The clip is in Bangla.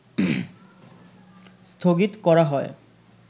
স্থগিত করা হয়